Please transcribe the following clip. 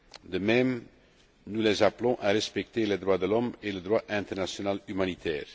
De même, nous les appelons à respecter les droits de l'homme et le droit international humanitaire.